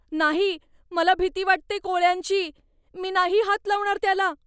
नाही! मला भीती वाटते कोळ्यांची. मी नाही हात लावणार त्याला.